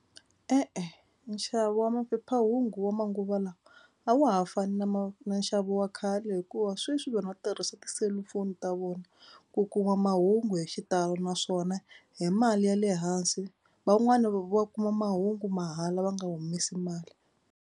E-e nxavo wa maphephahungu wa manguva lawa a wa ha fani na na nxavo wa khale hikuva sweswi vanhu va tirhisa tiselufoni ta vona ku kuma mahungu hi xitalo naswona hi mali ya le hansi. Van'wani va kuma mahungu mahala va nga humesi mali.